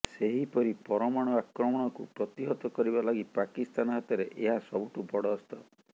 ସେହିପରି ପରମାଣୁ ଆକ୍ରମଣକୁ ପ୍ରତିହତ କରିବା ଲାଗି ପାକିସ୍ତାନ ହାତରେ ଏହା ସବୁଠୁ ବଡ଼ ଅସ୍ତ୍ର